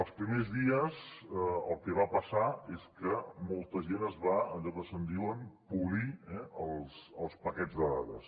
els primers dies el que va passar és que molta gent es va allò que se’n diu polir eh els paquets de dades